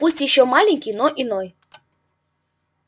пусть ещё маленький но иной